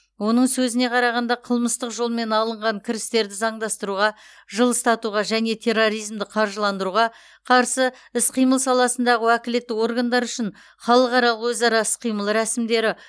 оның сөзіне қарағанда қылмыстық жолмен алынған кірістерді заңдастыруға жылыстатуға және терроризмді қаржыландыруға қарсы іс қимыл саласындағы уәкілетті органдар үшін халықаралық өзара іс қимыл рәсімдері